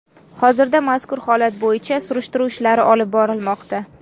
Hozirda mazkur holat bo‘yicha surishtiruv ishlari olib borilmoqda.